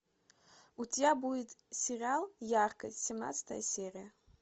у тебя будет сериал яркость семнадцатая серия